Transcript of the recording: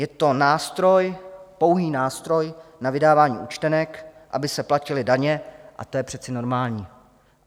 Je to nástroj, pouhý nástroj na vydávání účtenek, aby se platily daně, a to je přece normální.